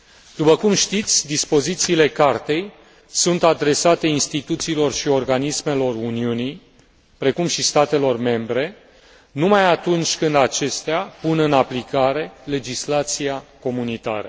După cum știți dispozițiile Cartei sunt adresate instituțiilor și organismelor Uniunii, precum și statelor membre, numai atunci când acestea pun în aplicare legislația comunitară.